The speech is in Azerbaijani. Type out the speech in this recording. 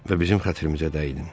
Və bizim xətrimizə dəydin.